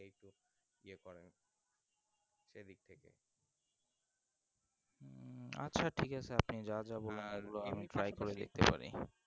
আচ্ছা ঠিক আছে আপনি যা যা বললেন আমি সেগুলো try করে দেখতে পারি